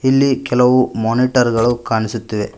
ಇಲ್ಲಿ ಕೆಲವು ಮೋನಿಟರ್ ಗಳು ಕಣ್ಣಿಸುತ್ತಿವೆ.